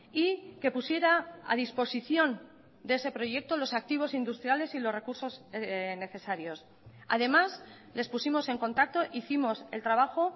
y que pusiera a disposición de ese proyecto los activos industriales y los recursos necesarios además les pusimos en contacto hicimos el trabajo